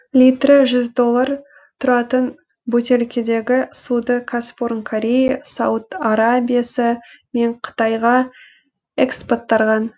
литрі жүз доллар тұратын бөтелкедегі суды кәсіпорын корея сауд арабиясы мен қытайға экспорттарған